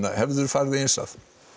hefðirðu farið eins að